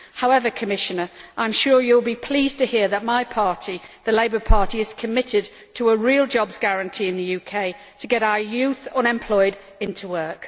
However, Commissioner, I am sure you will be pleased to hear that my party the Labour Party is committed to a real jobs guarantee in the UK to get our youth unemployed into work.